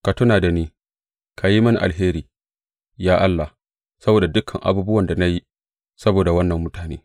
Ka tuna da ni, ka yi mini alheri, ya Allah, saboda dukan abubuwan da na yi saboda waɗannan mutane.